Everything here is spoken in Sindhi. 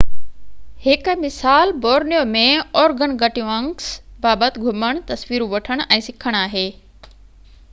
هڪ مثال بورنيو ۾ organgatuangs بابت گهمڻ تصويرون وٺڻ ۽ سکڻ آهي